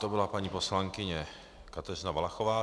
To byla paní poslankyně Kateřina Valachová.